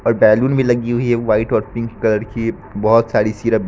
और बैलून भी लगी हुई है व्हाइट और पिंक कलर की बहोत सारी सिरप --